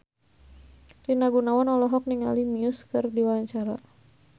Rina Gunawan olohok ningali Muse keur diwawancara